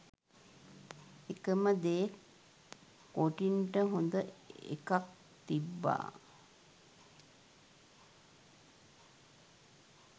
එකම දේ කොටින්ට හොඳ එකක් තිබ්බා